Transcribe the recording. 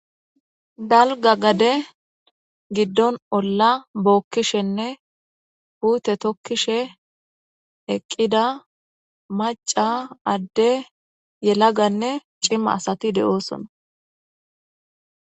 Dalga gade giddon olla bookkishenne huute tokkishe eqqida maca adde yelaganne cima asati de'oosona.